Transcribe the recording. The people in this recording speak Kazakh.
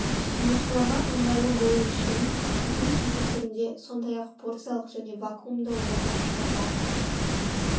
тұтынушыларға ыңғайлы болу үшін бүтін кесек түрінде сондай ақ порциялық және вакуумды орамда шығарылады